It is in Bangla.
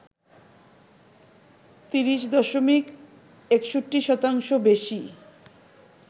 ৩০ দশমিক ৬১ শতাংশ বেশি